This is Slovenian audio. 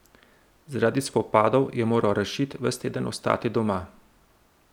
Zaradi spopadov je moral Rašid ves teden ostati doma.